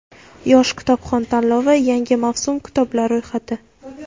"Yosh kitobxon" tanlovi yangi mavsum kitoblar ro‘yxati.